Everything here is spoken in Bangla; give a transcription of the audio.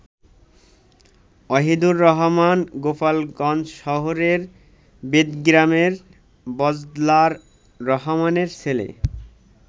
ওহিদুর রহমান গোপালগঞ্জশহরের বেদগ্রামের বজলার রহমানের ছেলে।